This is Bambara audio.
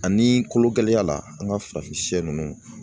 Ani kologɛlɛya la an ka farafinsɛ ninnu